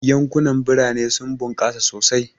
Yankunan birane sun bunkasa sosai,.